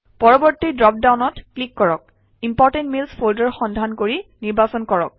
পৰৱৰ্তী ড্ৰপ ডাউনত ক্লিক কৰক ইম্পৰ্টেণ্ট মেইলছ ফল্ডাৰ সন্ধান কৰি নিৰ্বাচন কৰক